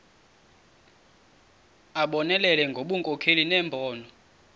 abonelele ngobunkokheli nembono